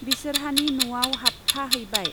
बिसोरहानि न'आव हाबफा हैबाय।